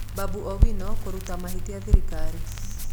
Babu Owino kũruta mahĩtia thirikari